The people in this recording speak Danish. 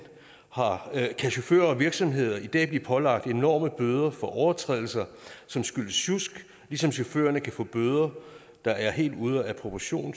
kan chauffører og virksomheder i dag blive pålagt enorme bøder for overtrædelser som skyldes sjusk ligesom chaufførerne kan få bøder der er helt ude af proportion